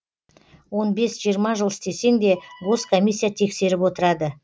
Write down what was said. он бес жиырма жыл істесең де гос комиссия тексеріп отырады